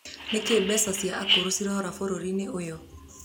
Nĩkĩĩ mbeca cia akũrũ cĩrora bũrũri-inĩ ũyũ